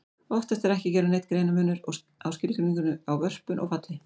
Oftast er ekki gerður neinn greinarmunur á skilgreiningunni á vörpun og falli.